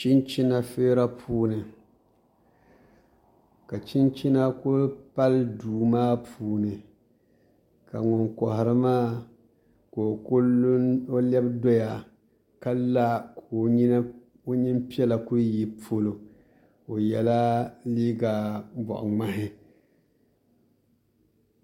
Chinchina feera puuni ka chinchina ku pali duu maa puuni ka ŋun koharili maa ka o lɛbi doya ka la ka o nyin piɛla ku yi polo o yɛla liiga boɣa ŋmahi